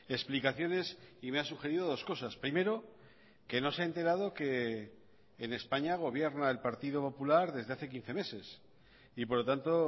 explicaciones y me ha sugerido dos cosas primero que no se ha enterado que en españa gobierna el partido popular desde hace quince meses y por lo tanto